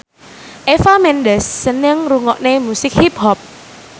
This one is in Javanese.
Eva Mendes seneng ngrungokne musik hip hop